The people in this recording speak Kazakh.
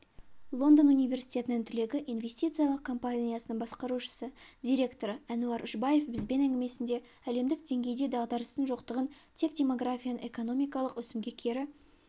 лондон университетінің түлегі инвестициялық компаниясының басқарушы директоры әнуар үшбаев бізбен әңгімесінде әлемдік деңгейде дағдарыстың жоқтығын тек демографияның экономикалық өсімге кері